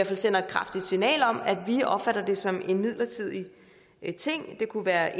fald sender et kraftigt signal om at vi opfatter det som en midlertidig ting det kunne være